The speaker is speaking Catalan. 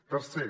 tercer